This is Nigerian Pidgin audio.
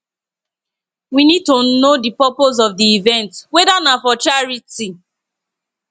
we need to know di purpose of di event weda na for charity